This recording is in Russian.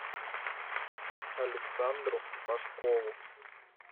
александру пашкову